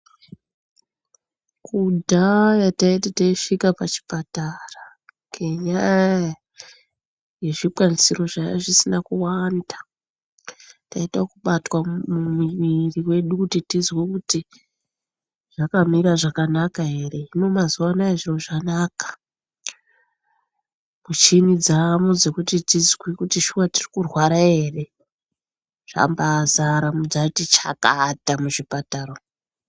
Kudhaya taiti teisvika pachipatara ngenyaya yezvikwanisiro zvanga zvisina kuwanda taiita ekubatwa mumwiri wedu kuti tizwe kuti zvakamira zvakanaka ere hino mazuwano zviro zvanaka michini dzamo dzekuti tizwe kuti shuwa tiri kutwara ere zvambazara zvati chakata muzvipatara umo.